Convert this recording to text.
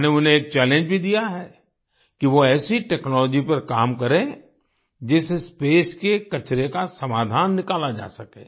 मैंने उन्हें एक चैलेंज भी दिया है कि वो ऐसी टेक्नोलॉजी पर काम करें जिससे स्पेस के कचरे का समाधान निकाला जा सके